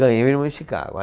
Ganhei um irmão em Chicago.